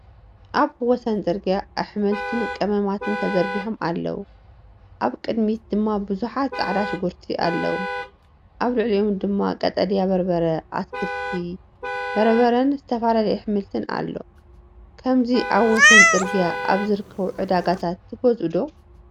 ኣብ ወሰን ጽርግያ ኣሕምልትን ቀመማትን ተዘርጊሖም ኣለዉ። ኣብ ቅድሚት ድማ ብዙሓት ፃዕዳ ሽጉርቲ ኣለዉ። ኣብ ልዕሊኦም ድማ ቀጠልያ በርበረ፡ ኣትክልቲ፡ በርበረን ዝተፈላለየ ኣሕምልትን ኣሎ። ከምዚ ኣብ ወሰን ጽርግያ ኣብ ዝርከቡ ዕዳጋታት ትገዝኡ ዶ?